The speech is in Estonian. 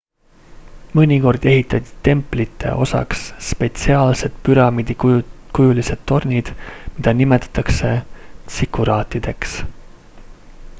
mõnikord ehitati templite osaks spetsiaalsed püramiidikujulised tornid mida nimetatakse tsikuraatideks